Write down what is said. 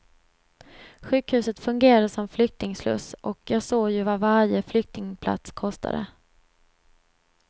Sjukhuset fungerade som flyktingsluss och jag såg ju vad varje flyktingplats kostade.